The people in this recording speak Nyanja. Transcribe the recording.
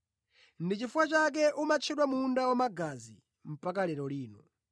Ndi chifukwa chake umatchedwa munda wamagazi mpaka lero lino.